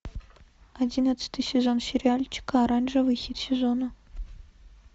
одиннадцатый сезон сериальчика оранжевый хит сезона